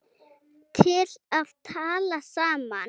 til að tala saman